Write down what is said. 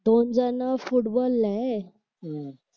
दोन जण फुटबॉल ला आहे